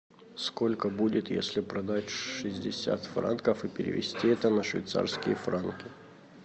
сколько будет если продать шестьдесят франков и перевести это на швейцарские франки